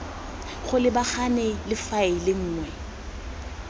go lebagana le faele nngwe